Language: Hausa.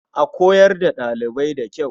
A koyar da ɗalibai da kyau.